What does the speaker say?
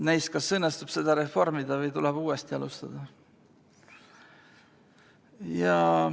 Näis, kas õnnestub seda reformida või tuleb uuesti alustada.